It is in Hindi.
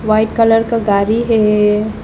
वाइट कलर का गाड़ी है ये।